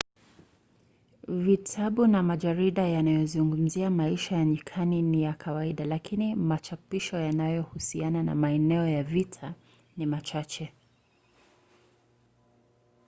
vitabu na majarida yanayozungumzia maisha ya nyikani ni ya kawaida lakini machapisho yanayohusiana na maeneo ya vita ni machache